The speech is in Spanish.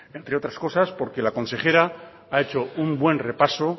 entre otras cosas porque la consejera ha hecho un buen repaso